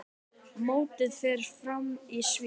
Mótið fer fram í Sviss.